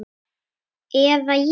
Eða ég.